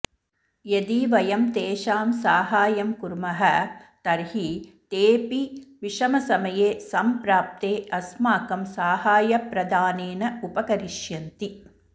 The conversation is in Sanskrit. यदि वयं तेषां साहाय्यं कुर्मः तर्हि तेऽपि विषमसमये संप्राप्ते अस्माकं साहाय्यप्रदानेन उपकरिष्यन्ति